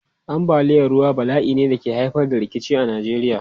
Ambaliyar ruwa bala'i ne da ke haifar da rikici a Najeriya.